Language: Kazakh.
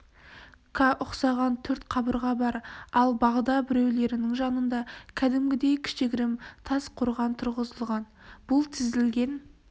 қа ұқсаған төрт қабырға бар ал бағда біреулерінің жанында кәдімгідей кішігірім тас қорған тұрғызылған бұл тізілген